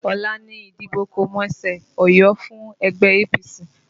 Ọ̀la ni ìdìbò kọ̀mẹsẹ̀-óyọ fún ẹgbẹ́ APC